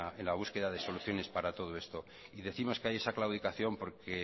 en la búsqueda de soluciones para todo esto y décimos que hay esa claudicación porque